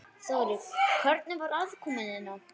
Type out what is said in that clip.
Þórir: Hvernig var aðkoman hérna?